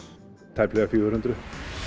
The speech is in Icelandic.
tæplega fjögur hundruð